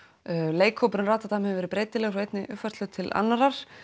leikhópur Ratadam hefur verið breytilegur frá einni uppfærslu til annarrar